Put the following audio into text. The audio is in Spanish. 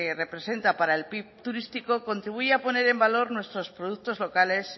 representa para el pib turístico contribuye a poner en valor nuestros productos locales